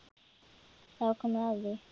Þá er komið að því.